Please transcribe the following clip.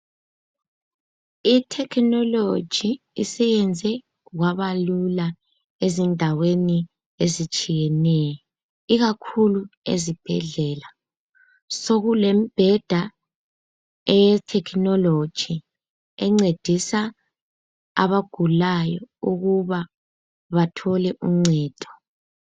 I"technology" siyenze kwabalula ezindaweni ezitshiyeneyo ikakhulu ezibhedlela. Sokulembheda eye"technology" encedisa abagulayo ukuba bathole uncedo.